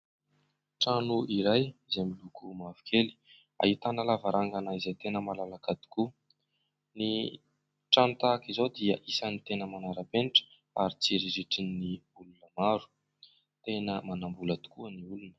Trano iray izay miloko mavokely ahitana lavarangana izay tena malalaka tokoa. Ny trano tahaka izao dia isan'ny tena manara-penitra ary tsiriritin'ny olona maro. Tena manam-bola tokoa ny olona.